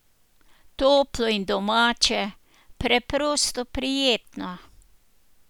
Toplo in domače, preprosto prijetno.